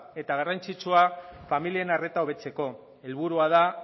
eta garrantzitsua familien arreta hobetzeko helburua da